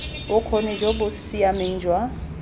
bokgoni jo bo siameng jwa